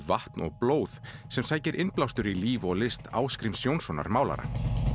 vatn og blóð sem sækir innblástur í líf og list Ásgríms Jónssonar málara